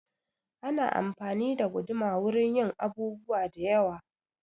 Ana anfani da guduma wurin yin abubuwa da yewa